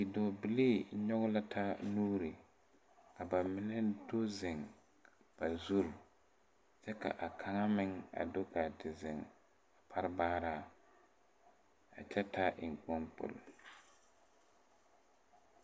Bidɔɔbilii nyoge la taa nuure ka ba mine do zeŋ ba zurre kyɛ ka a kaŋa meŋ a do gaa te zeŋ a pare baaraaŋ a kyɛ taa eŋkpaŋkpol.